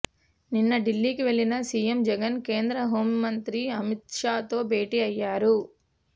నిన్న ఢిల్లీకి వెళ్లిన సీఎం జగన్ కేంద్ర హోంమంత్రి అమిష్తో భేటీ అయ్యారు